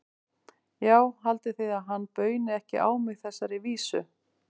Já, haldið þið að hann bauni ekki á mig þessari vísu?